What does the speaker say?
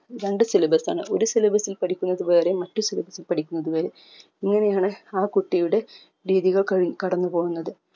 രണ്ട്‌ syllabus ആണ് ഒരു syllabus ൽ പഠിക്കുന്നത് വേറെ മറ്റു syllabus ൽ പഠിക്കുന്നത് വേറെ ഇങ്ങനെയാണ് ആ കുട്ടിയുടെ രീതികൾ കഴി കടന്നുപോകുന്നത്